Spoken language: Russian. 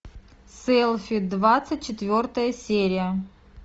селфи двадцать четвертая серия